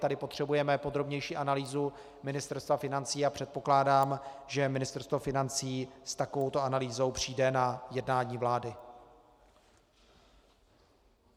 Tady potřebujeme podrobnější analýzu Ministerstva financí a předpokládám, že Ministerstvo financí s takovouto analýzou přijde na jednání vlády.